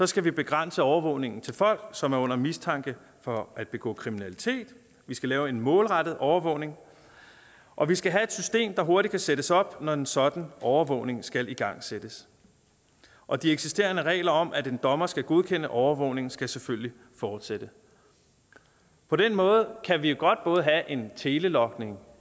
skal vi begrænse overvågningen til folk som er under mistanke for at begå kriminalitet vi skal lave en målrettet overvågning og vi skal have et system der hurtigt kan sættes op når en sådan overvågning skal igangsættes og de eksisterende regler om at en dommer skal godkende overvågningen skal selvfølgelig fortsætte på den måde kan vi jo godt både have en telelogning